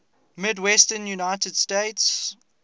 midwestern united states